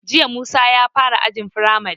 Jiya Musa ya fara ajin firamari